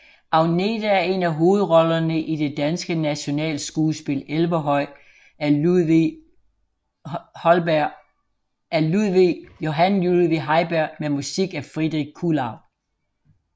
Agnete er en af hovedrollerne i det danske nationalskuespil Elverhøj af Johan Ludvig Heiberg med musik af Friedrich Kuhlau